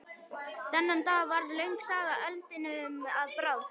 Þennan dag varð löng saga eldinum að bráð.